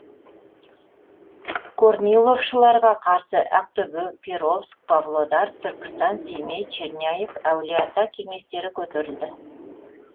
корниловшыларға қарсы ақтөбе перовск павлодар түркістан семей черняев әулиеата кеңестері көтерілді